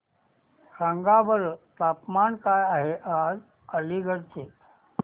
सांगा बरं तापमान काय आहे आज अलिगढ चे